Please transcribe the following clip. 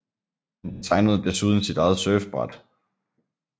Han designede desuden sit eget surfbræt